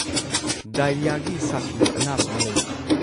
ꯗꯥꯏꯔꯤꯌꯥꯒꯤ ꯁꯥꯊꯤꯕ ꯑꯅꯥꯕ ꯑꯃ ꯂꯩꯔꯦ꯫